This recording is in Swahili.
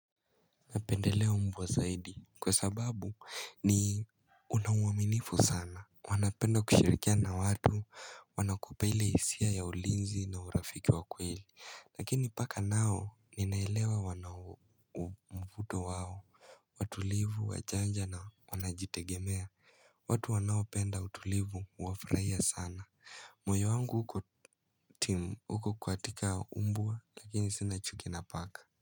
Napendelea umbwa zaidi kwa sababu ni una uwaminifu sana. Wanapenda kushirikiana na watu wanakupea ile hisia ya ulinzi na urafiki wa kweli. Lakini paka nao ninaelewa wana mvuto wao, watulivu, wajanja na wanajitegemea. Watu wanaopenda utulivu huwafurahia sana. Moyo wangu uko katika umbwa lakini sina chuki na paka.